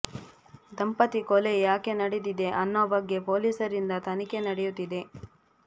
ದಂಪತಿ ಕೊಲೆ ಯಾಕೆ ನಡೆದಿದೆ ಅನ್ನೋ ಬಗ್ಗೆ ಪೊಲೀಸರಿಂದ ತನಿಖೆ ನಡೆಯುತ್ತಿದೆ